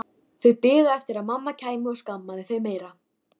Þau biðu eftir að mamma kæmi og skammaði þau meira.